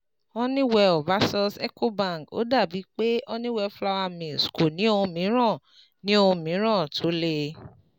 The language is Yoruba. Honeywell vs Ecobank: Ó dà bíi pé Honeywell Flour Mills kò ní ohun mìíràn ní ohun mìíràn tó lè